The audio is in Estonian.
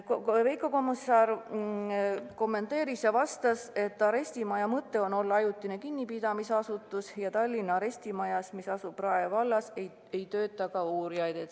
Veiko Kommusaar kommenteeris ja vastas, et arestimaja mõte on olla ajutine kinnipidamisasutus ja Tallinna arestimajas, mis asub Rae vallas, ei tööta uurijaid.